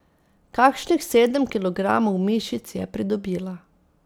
Kakšnih sedem kilogramov mišic je pridobila.